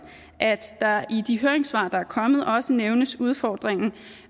at der i de høringssvar der er kommet også nævnes udfordringen